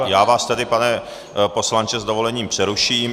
Tak já vás tady, pane poslanče, s dovolením přeruším.